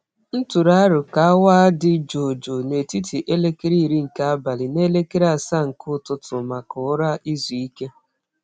M tụrụ aro ka awa dị jụụ jụụ n'etiti elekere iri nke abali na elekere asaa nke ụtụtụ maka ụra izu ike.